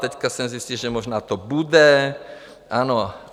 Teď jsem zjistil, že možná to bude, ano.